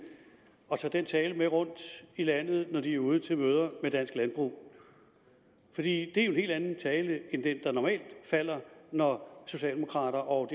at tage den tale med rundt i landet når de er ude til møder med dansk landbrug fordi det jo er en helt anden tale end den der normalt falder når socialdemokrater og